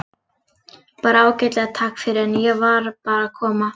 Bara ágætlega, takk fyrir, en ég var bara að koma.